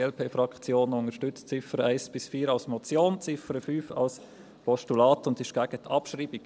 Diese unterstützt die Ziffern 1 bis 4 als Motion, die Ziffer 5 als Postulat und ist gegen die Abschreibung.